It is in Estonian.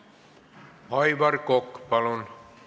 Aivar Kokk, palun!